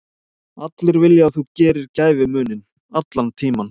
Allir vilja að þú gerir gæfumuninn, allan tímann.